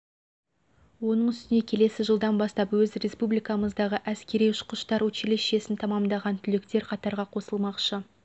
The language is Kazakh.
оның үстіне келесі жылдан бастап өз республикамыздағы әскери ұшқыштар училищесін тәмамдаған түлектер қатарға қосылмақшы